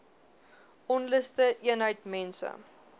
onluste eenheid mense